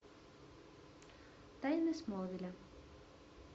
тайны смолвиля